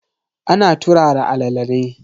Ana turara alala ne.